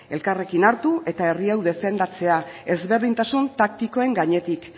elkarrekin hartu eta herri hau defendatzea ezberdintasun taktikoen gainetik